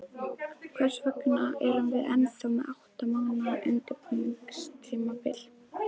Hvers vegna erum við ennþá með átta mánaða undirbúningstímabil?